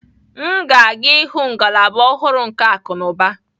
M ga-aga ịhụ ngalaba ọhụrụ nke akunuba.